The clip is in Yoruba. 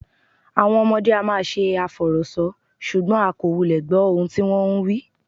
Àwọn ọmọdé á máa ṣe àfọ̀rọ̀sọ, ṣùgbọ́n a kò wulẹ̀ gbọ́ ohun tí wón ń wí.